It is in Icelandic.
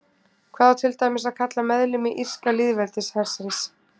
Hvað á til dæmis að kalla meðlimi Írska lýðveldishersins?